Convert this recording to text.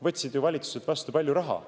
Võtsid ju valitsuselt vastu palju raha.